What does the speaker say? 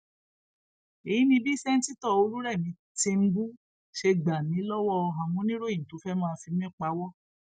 èyí ni bí sẹńtítọ olùrẹmi tìǹbù ṣe gbà mí lọwọ àwọn oníròyìn tó fẹẹ máa fi mí pawọ